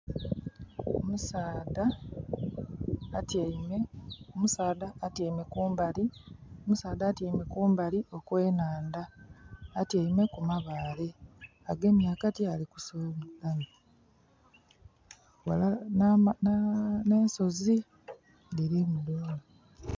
Omusaadha atyaime kumbali okw'enhandha. Atyaime ku mabaale. Agemye akati ali kusudiyamu. N'ensozi dhirimu.